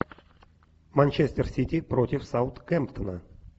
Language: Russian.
манчестер сити против саутгемптона